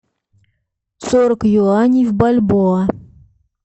сорок юаней в бальбоа